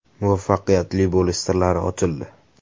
Muvaffaqiyatli bo‘lish sirlari ochildi!